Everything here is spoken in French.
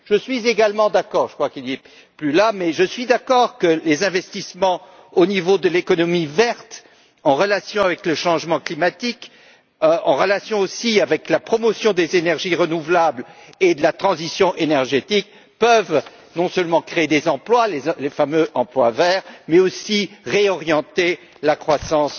Je suis également d'accord je crois que la personne qui en a parlé n'est plus là que les investissements au niveau de l'économie verte en relation avec le changement climatique, en relation aussi avec la promotion des énergies renouvelables et de la transition énergétique peuvent non seulement créer des emplois les fameux emplois verts mais aussi réorienter la croissance